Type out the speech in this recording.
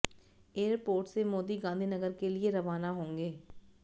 airport से मोदी गांधीनगर के लिए रवाना होंगे